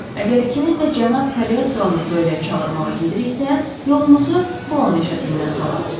Əgər ikiniz də cənab Koleostronu duelə çağırmağa gediriksə, yolumuzu Bulon meşəsindən salaq.